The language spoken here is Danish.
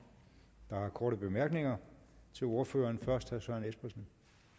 der har korte bemærkninger til ordføreren først herre søren espersen